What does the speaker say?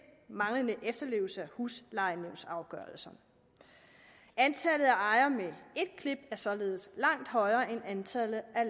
manglende efterlevelse af huslejenævnsafgørelser antallet af ejere med ét klip er således langt højere end antallet af